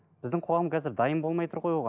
біздің қоғам қазір дайын болмай тұр ғой оған